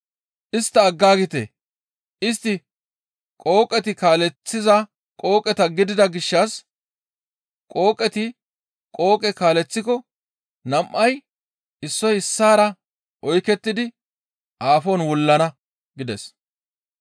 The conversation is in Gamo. Istta aggaagite; istti qooqeti kaaleththiza qooqeta gidida gishshas, qooqeti qooqe kaaleththiko nam7ay issoy issaara oykettidi aafon wullana» gides.